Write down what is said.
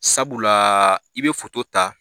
Sabula i be ta